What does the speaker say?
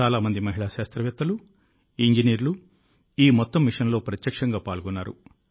చాలా మంది మహిళా శాస్త్రవేత్తలు ఇంజనీర్లు ఈ మొత్తం మిషన్లో ప్రత్యక్షంగా పాల్గొన్నారు